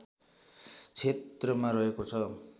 क्षेत्रमा रहेको छ